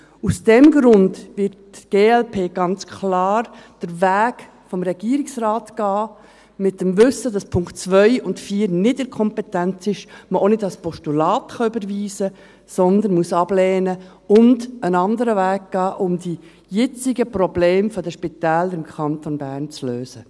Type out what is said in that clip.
Aus diesem Grund wird die glp ganz klar den Weg des Regierungsrates gehen, im Wissen, dass die Punkt 2 und Punkt 4 nicht in der Kompetenz ist, man sie auch nicht als Postulat überweisen kann, sondern ablehnen und einen anderen Weg gehen muss, um die jetzigen Probleme der Spitäler im Kanton Bern zu lösen.